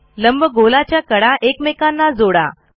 लंबगोलाच्या कडा एकमेकांना जोडा